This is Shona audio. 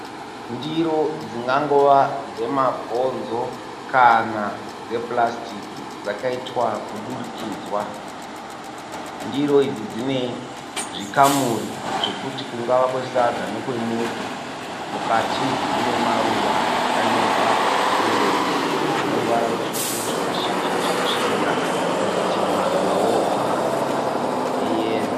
Ndiro dzingangova dzemabhonzo kana dzepurasitiki dzakaitwa kudurikidzwa. Ndiro idzi dzine zvikamuri zvokuti kungava kwesadza nekwemuto. Mukati mune maruva akanyorwa achiyevedza ane ruvara rutsvuku zvimashizha zvakasvibira kwozot maruvawo eyero.